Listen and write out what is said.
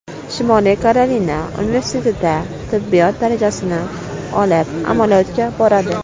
Shimoliy Karolina universitetida tibbiyot darajasini olib, amaliyotga boradi.